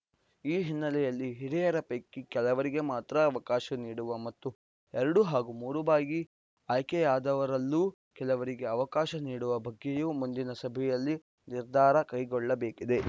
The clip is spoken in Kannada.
ಈ ಹಿನ್ನೆಲೆಯಲ್ಲಿ ಹಿರಿಯರ ಪೈಕಿ ಕೆಲವರಿಗೆ ಮಾತ್ರ ಅವಕಾಶ ನೀಡುವ ಮತ್ತು ಎರಡು ಹಾಗೂ ಮೂರು ಬಾರಿ ಆಯ್ಕೆಯಾದವರಲ್ಲೂ ಕೆಲವರಿಗೆ ಅವಕಾಶ ನೀಡುವ ಬಗ್ಗೆಯೂ ಮುಂದಿನ ಸಭೆಯಲ್ಲಿ ನಿರ್ಧಾರ ಕೈಗೊಳ್ಳಬೇಕಿದೆ